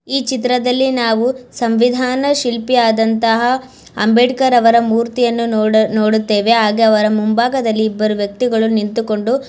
ಈ ಚಿತ್ರದಲ್ಲಿ ನಾವು ಸಂವಿದಾನ ಶಿಲ್ಪಿ ಆದಂತಹ ಅಂಬೇಡ್ಕರ್ ಅವರ ಮೂರ್ತಿಯನ್ನು ನೋಡ ನೋಡುತ್ತೇವೆ ಹಾಗೆ ಅವರ ಮುಂಬಾಗದಲ್ಲಿ ಇಬ್ಬರು ವ್ಯಕ್ತಿಗಳು ನಿಂತುಕೊಂಡು --